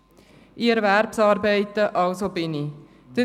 «Ich erwerbsarbeite, also bin ich.